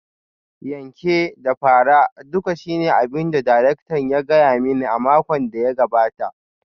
Yanke da fara duka shine abin da darakta ya gaya mani a makon da ya gabata